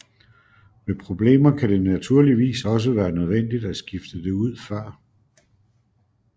Ved problemer kan det naturligvis også være nødvendigt at skifte det ud før